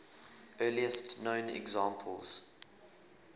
earliest known examples